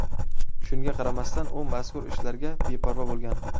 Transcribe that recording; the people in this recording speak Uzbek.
Shunga qaramasdan u mazkur ishlarga beparvo bo‘lgan.